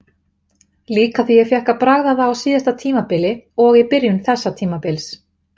Líka því ég fékk að bragða það á síðasta tímabili og í byrjun þessa tímabils.